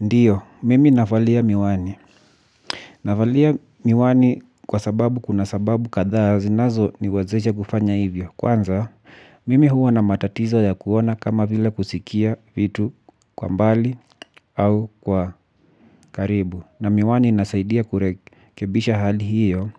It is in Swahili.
Ndiyo, mimi navalia miwani. Navalia miwani kwa sababu kuna sababu kathaa zinazo niwezesha kufanya hivyo. Kwanza, mimi huwa na matatizo ya kuona kama vila kusikia vitu kwa mbali au kwa karibu. Na miwani inasaidia kurekebisha hali hiyo